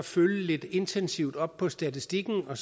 følge lidt intensivt op på statistikken og